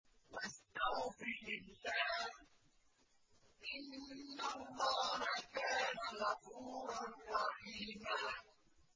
وَاسْتَغْفِرِ اللَّهَ ۖ إِنَّ اللَّهَ كَانَ غَفُورًا رَّحِيمًا